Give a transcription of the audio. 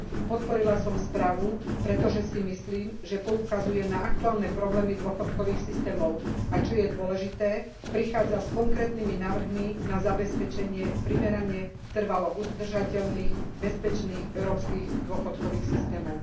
Podporila som správu, pretože si myslím, že poukazuje na aktuálne problémy dôchodkových systémov, a čo je dôležité, prichádza s konkrétnymi návrhmi na zabezpečenie primerane trvalo udržateľných, bezpečných európskych dôchodkových systémov.